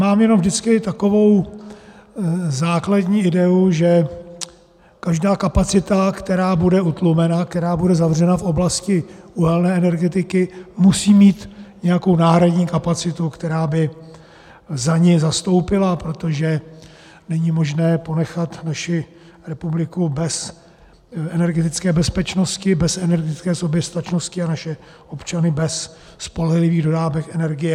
Mám jenom vždycky takovou základní ideu, že každá kapacita, která bude utlumena, která bude zavřena v oblasti uhelné energetiky, musí mít nějakou náhradní kapacitu, která by za ni zastoupila, protože není možné ponechat naši republiku bez energetické bezpečnosti, bez energetické soběstačnosti a naše občany bez spolehlivých dodávek energie.